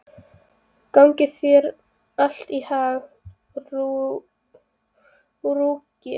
Gangi þér allt í haginn, Rúrik.